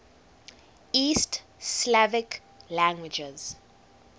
east slavic languages